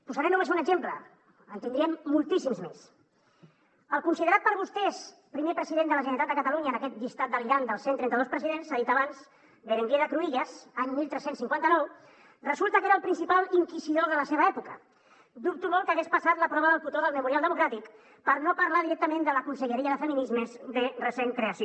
posaré només un exemple en tindríem moltíssims més el considerat per vostès primer president de la generalitat de catalunya en aquest llistat delirant dels cent i trenta dos presidents s’ha dit abans berenguer de cruïlles any tretze cinquanta nou resulta que era el principal inquisidor de la seva època dubto molt que hagués passat la prova del cotó del memorial democràtic per no parlar directament de la conselleria de feminismes de recent creació